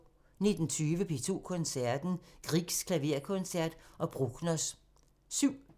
19:20: P2 Koncerten – Griegs klaverkoncert og Bruckners 7